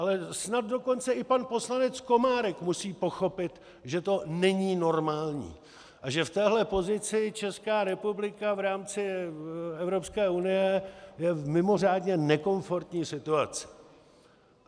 Ale snad dokonce i pan poslanec Komárek musí pochopit, že to není normální a že v téhle pozici Česká republika v rámci Evropské unie je v mimořádně nekomfortní situaci.